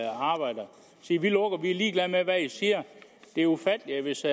sige vi lukker vi er ligeglade med hvad i siger det er ufatteligt hvis